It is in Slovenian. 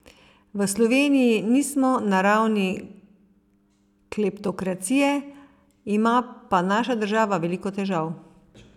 V Sloveniji nismo na ravni kleptokracije, ima pa naša država veliko težav.